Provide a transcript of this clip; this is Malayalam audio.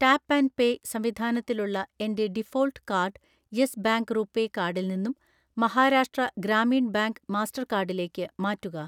ടാപ്പ് ആൻഡ് പേ സംവിധാനത്തിലുള്ള എൻ്റെ default card Yes Bank RuPay കാർഡിൽ നിന്നും മഹാരാഷ്ട്ര ഗ്രാമീൺ ബാങ്ക് മാസ്റ്റർകാർഡിലേക്ക്‌ മാറ്റുക